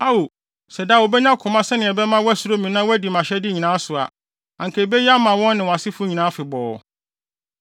Ao, sɛ daa wobenya koma sɛnea ɛbɛma wɔasuro me na wɔadi mʼahyɛde nyinaa so a, anka ebeye ama wɔn ne wɔn asefo nyinaa afebɔɔ.